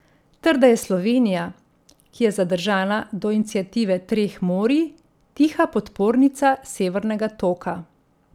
Ter da je Slovenija, ki je zadržana do iniciative treh morij, tiha podpornica Severnega toka.